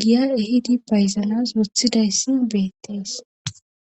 giya ehidi bayzanas othidayssi beettees